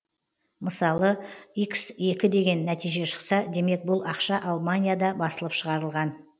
мысалы хекі деген нәтиже шықса демек бұл ақша алманияда басылып шығарылған